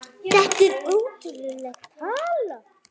Þetta er ótrúleg tala.